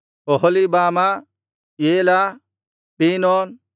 Oholibamah Elah ಪೀನೋನ್